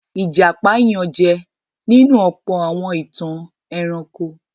Ìjàpá yànjẹ nínú ọ̀pọ̀ àwọn ìtàn ẹranko.